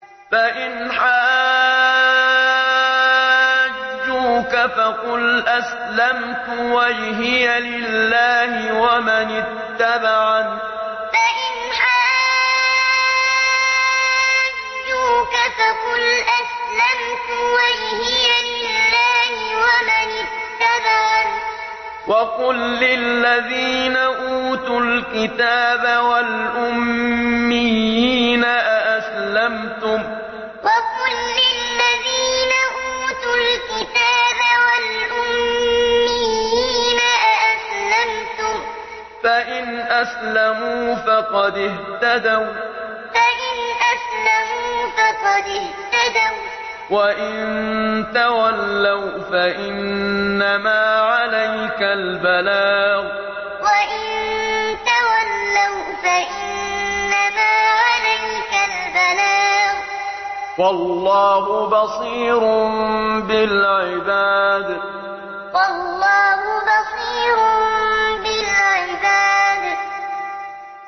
فَإِنْ حَاجُّوكَ فَقُلْ أَسْلَمْتُ وَجْهِيَ لِلَّهِ وَمَنِ اتَّبَعَنِ ۗ وَقُل لِّلَّذِينَ أُوتُوا الْكِتَابَ وَالْأُمِّيِّينَ أَأَسْلَمْتُمْ ۚ فَإِنْ أَسْلَمُوا فَقَدِ اهْتَدَوا ۖ وَّإِن تَوَلَّوْا فَإِنَّمَا عَلَيْكَ الْبَلَاغُ ۗ وَاللَّهُ بَصِيرٌ بِالْعِبَادِ فَإِنْ حَاجُّوكَ فَقُلْ أَسْلَمْتُ وَجْهِيَ لِلَّهِ وَمَنِ اتَّبَعَنِ ۗ وَقُل لِّلَّذِينَ أُوتُوا الْكِتَابَ وَالْأُمِّيِّينَ أَأَسْلَمْتُمْ ۚ فَإِنْ أَسْلَمُوا فَقَدِ اهْتَدَوا ۖ وَّإِن تَوَلَّوْا فَإِنَّمَا عَلَيْكَ الْبَلَاغُ ۗ وَاللَّهُ بَصِيرٌ بِالْعِبَادِ